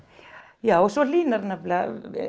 já svo hlýnar nefnilega